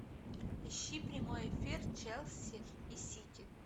ищи прямой эфир челси и сити